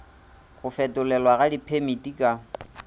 go fetolelwa ga diphemiti ka